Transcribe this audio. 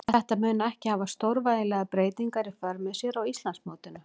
Þetta mun ekki hafa stórvægilegar breytingar í för með sér á Íslandsmótinu.